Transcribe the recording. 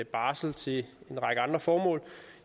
barsel til en række andre formål